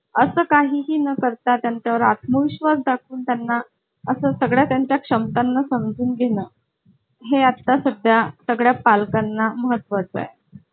असं काही ही न करता त्यानंतर आत्मविश्वास दाखवून त्यांना असं सगळं त्यांच्या क्षमतांना समजून घेणार हे आता सध्या सगळ्या पालकांना महत्त्वा चा आहे